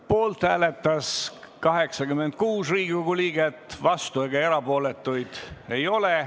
Poolt hääletas 86 Riigikogu liiget, vastuolijaid ega erapooletuid ei ole.